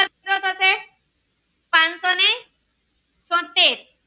ચોતેર